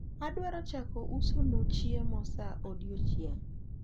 adwaro chako uso nu chiemo sa odiechieng